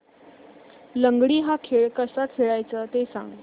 लंगडी हा खेळ कसा खेळाचा ते सांग